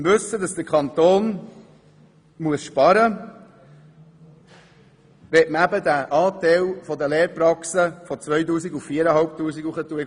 Im Wissen, dass der Kanton sparen muss, möchte man den Besoldungsanteil der Lehrpraxen von 2000 auf 4500 Franken erhöhen.